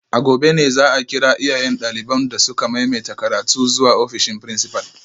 A gobe ne za a kira iyayen daliban da suka maimaita karatu zuwa ofishin principal